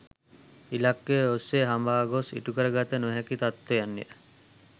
ඉලක්ක ඔස්සේ හඹා ගොස් ඉටු කරගත නොහැකි තත්ත්වයන්ය.